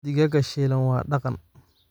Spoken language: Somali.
Digaagga shiilan waa dhaqan.